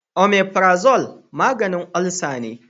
Omafirazol maganin olsa ne